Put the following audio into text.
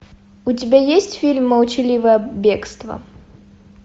у тебя есть фильм молчаливое бегство